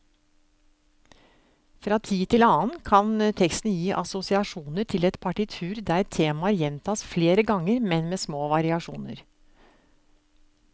Fra tid til annen kan teksten gi assosiasjoner til et partitur der temaer gjentas flere ganger, men med små variasjoner.